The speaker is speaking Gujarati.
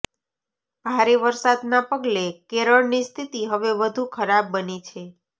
ભારે વરસાદના પગલે કેરળની સ્થિતિ હવે વધુ ખરાબ બની છે